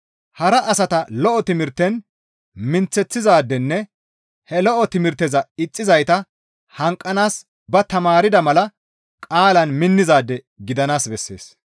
Hara asata lo7o timirten minththeththizaadenne he lo7o timirteza ixxizayta hanqanaas ba tamaarda mala qaalaan minnizaade gidanaas bessees.